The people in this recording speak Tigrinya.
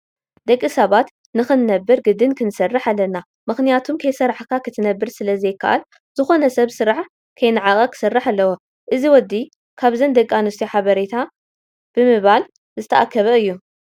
ደቂ ሰባት ንክንነብር ግድን ክሰርሕ ኣለና ምክንያቱ ከይሰርሕካ ክትነብር ስለዘይካኣል ዝኮነ ሰብ ስራሕ ከይነዓቀ ክሰር ኣለዎ። እዚ ወዲ ካብዘን ደቂ ኣንስትዮ ሓበሬታ ብሞባል እንዳኣከበ እዩ።